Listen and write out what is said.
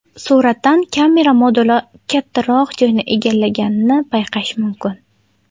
Suratdan kamera moduli kattaroq joyni egallaganini payqash mumkin.